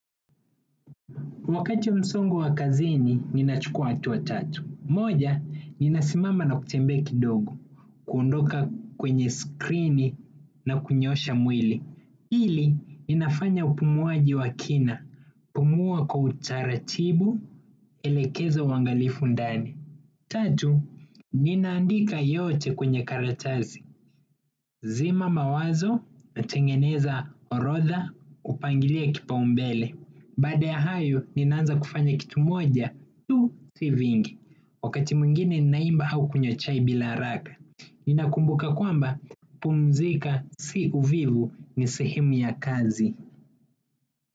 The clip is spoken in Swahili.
Wakati msongo wa kazini, ninachukua hatua tatu. Moja, ninasimama na kutembea kidogo, kuondoka kwenye skrini na kunyoosha mwili. Hili, ininafanya upumuaji wa kina, kupumua kwa utaratibu, elekeza uangalifu ndani. Tatu, ninaandika yote kwenye karatasi. Zima mawazo natengeneza orodha kupangilia kipaumbele. Baada ya hayo ninaanza kufanya kitu moja tu si vingi. Wakati mwingine ninaimba au kunywa chai bila haraka. Ninakumbuka kwamba kupumzika si uvivu ni sehemu ya kazi.